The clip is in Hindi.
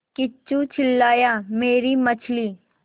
किच्चू चिल्लाया मेरी मछली